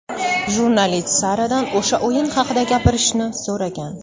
Jurnalist Saradan o‘sha o‘yin haqida gapirishni so‘ragan.